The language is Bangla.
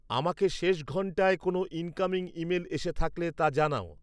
আমাকে শেষ ঘন্টায় কোনো ইনকামিং ইমেল এসে থাকলে তা জানাও